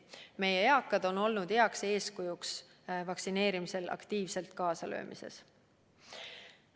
Meie eakad on olnud heaks eeskujuks vaktsineerimises aktiivselt kaasalöömises.